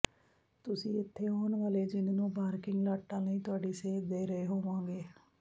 ਤੁਸੀਂ ਇੱਥੇ ਆਉਣ ਵਾਲੇ ਚਿੰਨ੍ਹ ਨੂੰ ਪਾਰਕਿੰਗ ਲਾਟਾਂ ਲਈ ਤੁਹਾਨੂੰ ਸੇਧ ਦੇ ਰਹੇ ਹੋਵੋਗੇ